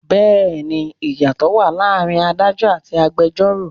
Bẹẹni ìyàtò wá láàárín Ádájọ́ àti agbẹjoro.